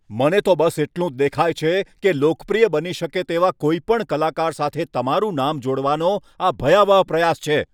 મને તો બસ એટલું જ દેખાય છે કે લોકપ્રિય બની શકે તેવા કોઈપણ કલાકાર સાથે તમારું નામ જોડવાનો આ ભયાવહ પ્રયાસ છે.